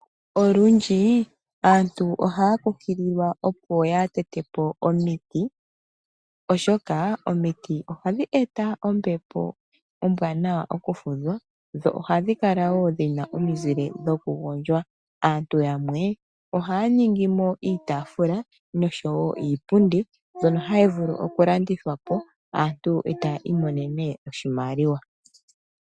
Olundji aantu ohaya kunkililwa opo ya tete po omiti, oshoka omiti ohadhi eta ombepo ombwaanawa yokufudha, dho ohadhi gandja wo omizile dhokugondjwa. Aantu yamwe ohaya ningi mo iitaafula osho wo iipundi mbyono hayi vulu okulandithwa po, eta ya imonene oshimaliwa.